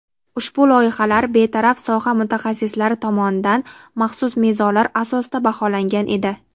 Ushbu loyihalar betaraf soha mutaxassislari tomonidan maxsus mezonlar asosida baholangan edi.